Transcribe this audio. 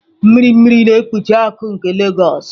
Mmiri mmiri na-ekpuchi akụkụ nke Legos.